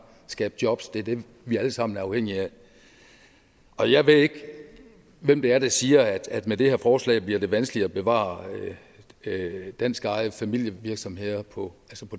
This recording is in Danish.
skabe jobs det er det vi alle sammen er afhængige af jeg ved ikke hvem det er der siger at det med det her forslag bliver vanskeligt at bevare danskejede familievirksomheder på